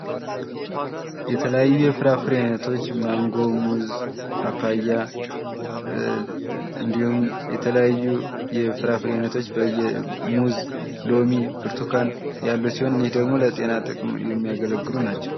የተለያዩ የፍራፍሬ አይነቶች ማንጎ ሙዝ ፓፓያ እንድሁም የተለያዩ የፍራፍሬ አይነቶች ሙዝ ሎሚ ብርቱካን ያሉበት ያሉ ሲሆን እነዚህ ደግሞ ለጤና ጥቅም የሚያገለግሉ ናቸው።